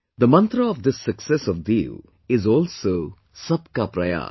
The mantra of this success of Diu is also Sabka Prayas